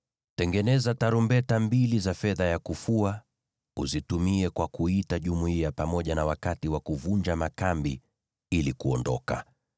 “Tengeneza tarumbeta mbili za fedha ya kufua, uzitumie kwa kuita jumuiya pamoja na wakati wa kuvunja makambi ili kuondoka.